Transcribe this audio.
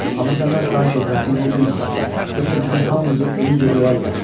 Amma səndən xahiş edirəm dilini dinc saxla, yoxsa bizim hamımızı ölüncə döyərlər.